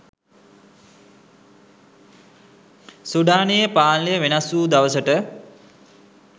සුඩානයේ පාලනය වෙනස්වූ දවසට